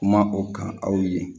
Kuma o kan aw ye